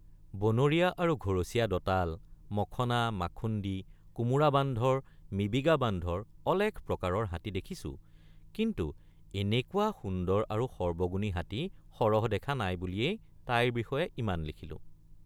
বনৰীয়া আৰু ঘৰচীয়া দঁতাল মখনা মাথুন্দী কোমোৰ৷ বান্ধৰ মিবিগা বান্ধৰ অলেখ প্ৰকাৰৰ হাতী দেখিছোঁ কিন্তু এনেকুৱা সুন্দৰ আৰু সৰ্বগুণী হাতী সৰহ দেখা নাই বুলিয়েই তাইৰ বিষয়ে ইমান লিখিলোঁ।